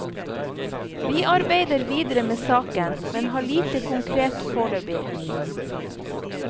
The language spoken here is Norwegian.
Vi arbeider videre med saken, men har lite konkret foreløpig.